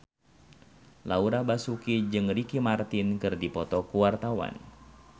Laura Basuki jeung Ricky Martin keur dipoto ku wartawan